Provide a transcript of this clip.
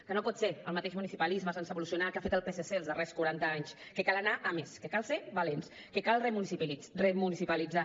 que no pot ser el mateix municipalisme sense evolucionar que ha fet el psc els darrers quaranta anys que cal anar a més que cal ser valents que cal remunicipalitzar